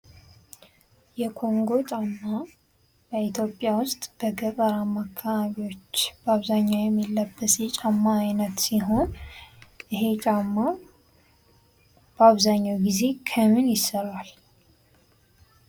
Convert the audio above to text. የኮንጎ ጫማ ኢትዮጵያ ውስጥ በገጠራማ ካባቢዎች በአብዛኛው የሚለበስ የጫማ አይነት ሲሆን ይሄ ጫማ በአብዛኛው ጊዜ ከምን ይሰራል?